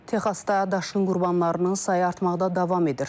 Texasda daşqın qurbanlarının sayı artmaqda davam edir.